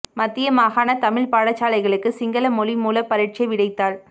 மத்திய மாகாணத் தமிழ்ப் பாடசாலைகளுக்கு சிங்கள மொழிமூல பரீட்சை விடைத்தாள்